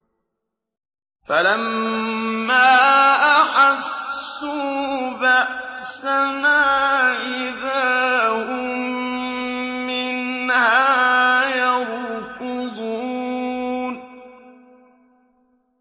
فَلَمَّا أَحَسُّوا بَأْسَنَا إِذَا هُم مِّنْهَا يَرْكُضُونَ